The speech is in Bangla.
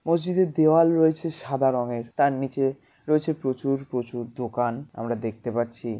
মসজিদের দেওয়াল রয়েছে সাদা রঙের। তার নিচে রয়েছে প্রচুর প্রচুর দোকান আমরা দেখতে পাচ্ছি।